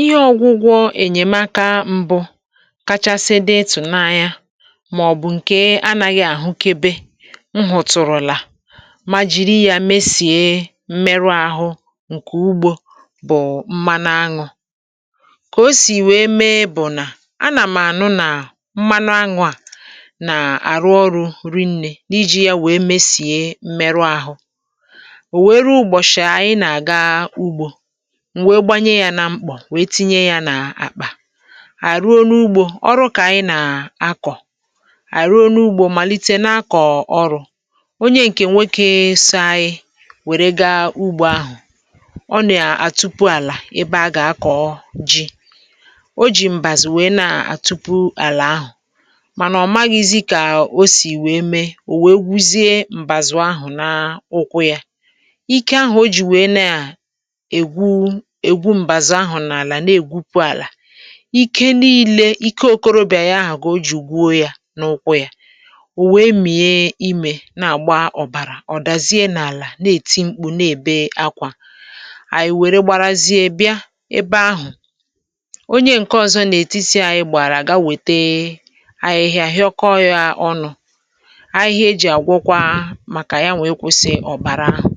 Ihe ọgwụgwọ enyemaka mbụ̇ kachasị dị ịtụ̀nanya, màọ̀bụ̀ nke anaghị ahụkebe, m hụ̀tụ̀rụ̀là, ma jiri ya mesie mmerụ ahụ̇ nke ugbò, bụ̀ mmanụ aṅụ̇. Kà o siri wee mee bụ̀ nà a nà m ànụ nà mmanụ aṅụ̇ a nà arụ ọrụ̇ rịṅnė; n’iji ya wee mesie mmerụ ahụ̇. O wèrè ruo ụgbọ̀chi ànyị nà-àga ugbò, m wee gbanye ya n’àmkpọ̀, tinye ya n’àkpà, anyi e ruo n' ugbò, ọrụ kà ànyị nọ na-akọ̀, anyi erùo n’ugbò, malite na-akọ̀ ọrụ̇, onye nke nwoke so anyi wèrè gaa ugbò ahụ̀. Ọ nà-àtupu àlà ebe a gà-akọ̀ ji; o jì mbàzù wee na-àtupu àlà ahụ̀, mana ọ̀ maghị̇zị̇ kà o siri mee, o wee gwuzie mbàzù ahụ̀ n’ụkwụ̇ yà. Ike ahụ̀ o jiri wee na-ewu mbàzù ahụ̀ n’àlà, na-egwupu àlà, ike niile, ike okorobịa ya ahụ̀ ka o jiri gwuo yà n’ụkwụ̇ yà. O wee mị̀e ime na-àgba ọ̀bàrà; ọ̀ dàzie n’àlà, na-èti mkpụ̇, na-èbe ákwá. Ànyị̀ wèrè gbarazie bịa ebe ahụ̀. Onye nke ọzọ n’ètitị̇ ànyị gbàrà ga wète àhịhịa, hịọkọọ yà ọnụ̇. Àhịhịa e ji àgwọkwa, màkà ya nwa ikwụsị ọ̀bàrà ahụ̀,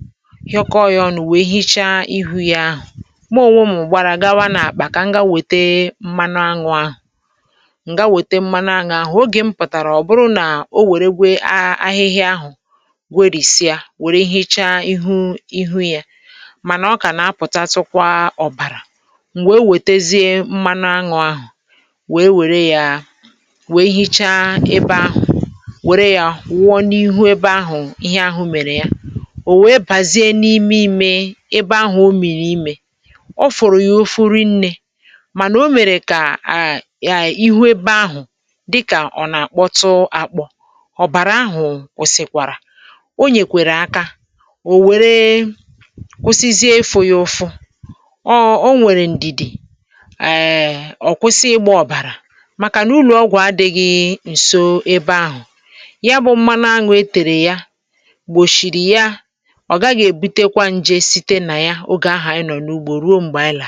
hịọkọọ yà ọnụ̇, wee hichaa ihu yà ahu. Mmụ ọ̇wé m gbàrà gawa n’àkpà, kà m gaa wète mmanụ aṅụ̇ ahụ̀. Mgbe m pụ̀tàrà, ọ bụrụ nà o wèrè kwara ahịhịa ahụ̀, gwerisịa, wèrè hichaa ihu yà; mana ọ ka na-apụta, tụkwa ọ̀bàrà. M̀ wee wètezie mmanụ aṅụ̇ ahụ̀, wèrè ya, wee hichaa ihu ebe ahụ̀, wèrè ya wụọ n’ihu ebe ahụ̀. Ihe ahụ̇ mèrè ya, o wee bàzie n’ime, ime ebe ahụ̀ omịrị ime, ofuru ya ufu rinne, mana o mèrè kà ihu̇ ebe ahụ̀ dịkà ọ nà-akpọtu akpo, obàrà ahụ̀ gwusịtukwàrà. O nyeere aka, o wee kwụsizie ifụ̇ ya ụfụ, ọ nwèrè ndìdì owèè kwụsị ịgba ọ̀bàrà màkà n’ụlọ̀ ọgwụ̀ adị̇ghị̇ nso ebe ahụ̀. Ya bụ̇ mmanụ aṅụ̇ e tèrè ya gbochiri ya, ogaghi ebutekwa nje site n' ya oge ahu anyi nọ n' ugbò ruo mgbe anyi àlara.